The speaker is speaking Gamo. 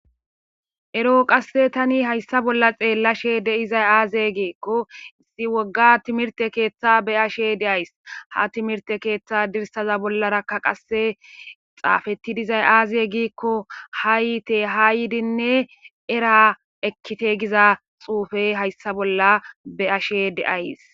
ero qasse tani hayssa bolla xeellashe de7izay aaze giikko issi wogga timirte keeththa be ashe deays ha timirte keeththa dirsaza bollarakka qasse xaafeti dizay aaze giikko haa yiite ha yiidinne era ekkite giza xuufey hayssa bolla be ashe deays